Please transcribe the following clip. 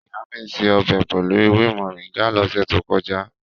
Ìyá mi se ọbẹ̀ pẹ̀lú ewé Moringa lọ́sẹ̀ tó kọjá.